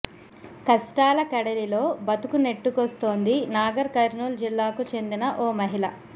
కష్టాల కడలిలో బతుకు నెట్టుకొస్తోంది నాగర్ కర్నూల్ జిల్లాకు చెందిన ఓ మహిళ